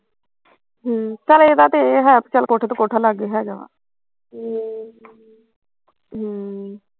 ਹਮ ਚੱਲ ਏਹ ਤਾਂ ਤੇਰੇ ਹੈ ਵੀ ਕੋਠੇ ਤੋਂ ਕੋਠਾ ਲਾਗੇ ਹੈਗਾ ਵਾ ਹਮ ਹਮ